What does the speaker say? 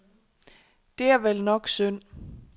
Det er vel nok synd.